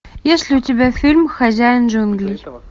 есть ли у тебя фильм хозяин джунглей